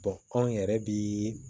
anw yɛrɛ bi